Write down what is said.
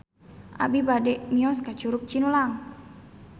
Abi bade mios ka Curug Cinulang